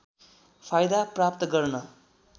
फाइदा प्राप्त गर्न